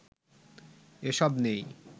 এসব নেই